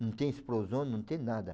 Não tem explosão, não tem nada.